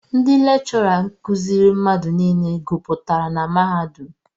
Ndị lekchọra kuziiri mmadụ nile guputara na mahadum.